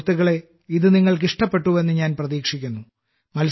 സുഹൃത്തുക്കളേ നിങ്ങൾക്കിത് ഇഷ്ടപ്പെട്ടുവെന്ന് ഞാൻ പ്രതീക്ഷിക്കുന്നു